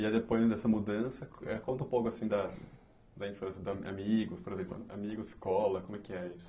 E ah depois dessa mudança, eh conta um pouco assim da da infância, da amigos, por exemplo, amigos, escola, como é que é isso?